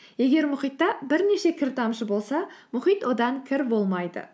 егер мұхитта бірнеше кір тамшы болса мұхит одан кір болмайды